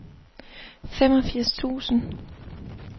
femogfirs tusind